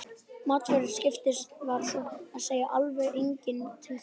Matarforði skipsins var svo að segja alveg genginn til þurrðar.